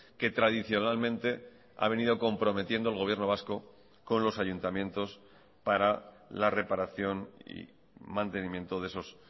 que tradicionalmente ha venido comprometiendo el gobierno vasco con los ayuntamientos para la reparación y mantenimiento de esos